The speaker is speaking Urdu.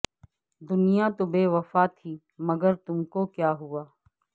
دنیا تو بےوفا تھی مگر تم کو کیا ہوا